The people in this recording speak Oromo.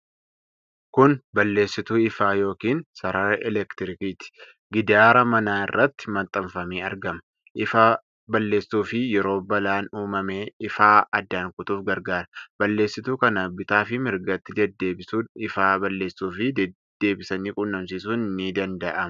Kun balleessituu ifaa yookiin sarara elektrikiitii. Gidaara manaa irratti maxxanfamee argama. ifaa balleessuu fi yeroo balaan uumame ifaa addaan kutuuf gargaara. Balleessituu kana bitaa fi mirgatti deeddebisuun ifaa balleessuufii deebisanii qunnamsiisuun ni danda'ama.